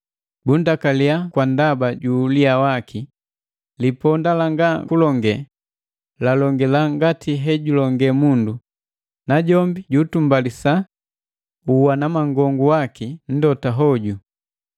bundakaliya kwa ndaba ju uliya waki. Liponda langa kulonge, lalongila ngati hejulonge mundu, najombi ju utumbalisa uwanamangongu waka nndota hoju.